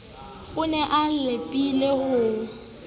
o ne a lapile ho